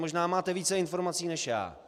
Možná máte více informací než já.